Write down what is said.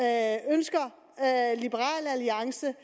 af ønsker liberal alliance